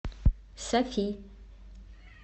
сафи